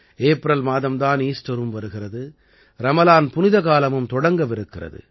April மாதம் தான் ஈஸ்டரும் வருகிறது ரமலான் புனித காலமும் தொடங்கவிருக்கிறது